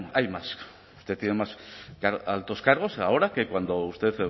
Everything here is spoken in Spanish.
hay más tiene más altos cargos ahora que cuando usted